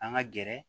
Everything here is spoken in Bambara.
An ka gɛrɛ